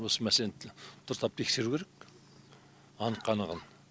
осы мәселенті дұрыстап тексеру керек анық қанығын